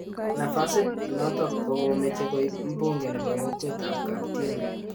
Nafasit notok kokomeche koib mbunge nebo kokwet�ap�Kaptien